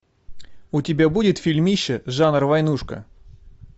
у тебя будет фильмище жанр войнушка